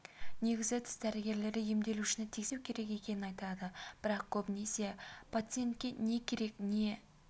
негізі тіс дәрігерлері емделушіні тексеріп не істеу керек екенін айтады бірақ көбінесе пациентке не керек не